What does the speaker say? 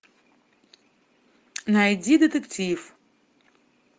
найди детектив